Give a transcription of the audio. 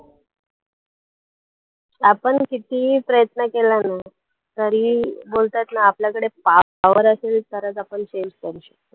आपण किती प्रयत्न केला ना तरीही बोलतात ना आपल्याकडे so power असेल तरच आपण change करू शकतो.